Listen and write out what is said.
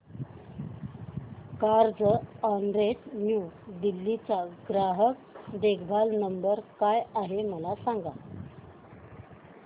Carzonrent New Delhi चा ग्राहक देखभाल नंबर काय आहे मला सांग